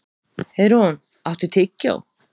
Heiðrún, áttu tyggjó?